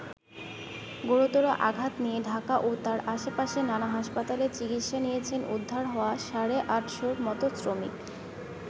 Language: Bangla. গুরুতর আঘাত নিয়ে ঢাকা ও তার আশপাশে নানা হাসপাতালে চিকিৎসা নিয়েছেন উদ্ধার হওয়া সাড়ে আটশোর মতো শ্রমিক।